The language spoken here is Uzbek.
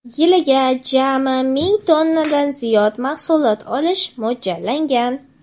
Yiliga jami ming tonnadan ziyod mahsulot olish mo‘ljallangan.